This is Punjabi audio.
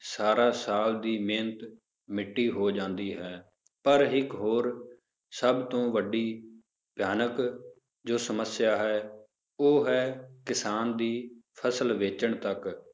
ਸਾਰਾ ਸਾਲ ਦੀ ਮਿਹਨਤ ਮਿੱਟੀ ਹੋ ਜਾਂਦੀ ਹੈ, ਪਰ ਇੱਕ ਹੋਰ ਸਭ ਤੋਂ ਵੱਡੀ ਭਿਆਨਕ ਜੋ ਸਮੱਸਿਆ ਹੈ ਉਹ ਹੈ ਕਿਸਾਨ ਦੀ ਫਸਲ ਵੇਚਣ ਤੱਕ